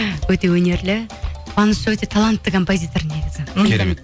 өте өнерлі қуаныш өте талантты композитор негізі керемет